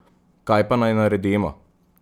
Kaj pa naj naredimo?